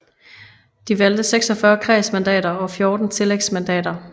De valgte 46 kredsmandater og 14 tillægsmandater